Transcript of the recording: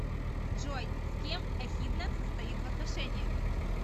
джой с кем эхидна состоит в отношениях